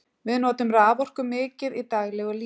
Við notum raforku mikið í daglegu lífi.